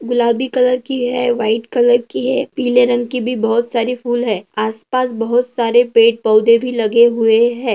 गुलाबी कलर की है व्हाइट कलर की है पीले रंग की भी बहुत सारी फुल है आसपास बहुत सारे पेड़ पोधे भी लगे हुए है।